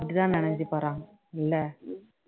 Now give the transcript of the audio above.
அப்படித்தான் நெனச்சு போறாங்க இல்ல